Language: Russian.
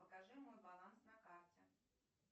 покажи мой баланс на карте